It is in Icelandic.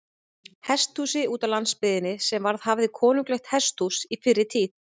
Hesthúsi útá landsbyggðinni, sem verið hafði konunglegt hesthús á fyrri tíð.